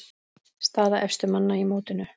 Staða efstu manna í mótinu